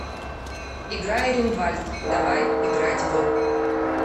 игра иринвальт давай играть в